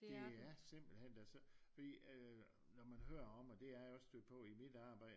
Og det er simpelthen øh fordi når man hører om og det er jeg også stødt på i mit arbejde